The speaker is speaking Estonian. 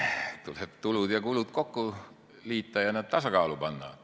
Tuleb tulud ja kulud kokku liita ja nad tasakaalu panna.